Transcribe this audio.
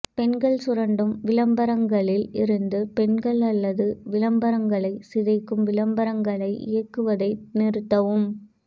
பெண்கள் சுரண்டும் விளம்பரங்களில் இருந்து பெண்கள் அல்லது விளம்பரங்களை சிதைக்கும் விளம்பரங்களை இயக்குவதை நிறுத்தவும்